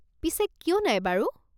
পিছে কিয় নাই বাৰু?